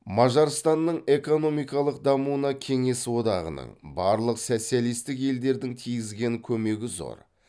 мажарстанның экономикалық дамуына кеңес одағының барлық социалисттік елдердің тигізген көмегі зор